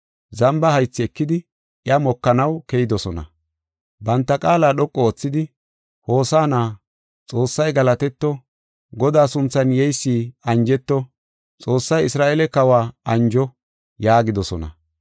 Zamba haythi ekidi iya mokanaw keyidosona. Banta qaala dhoqu oothidi, “Hosaana! Xoossay galatetto! Godaa sunthan yeysi anjeto! Xoossay Isra7eele Kawa anjo!” yaagidosona.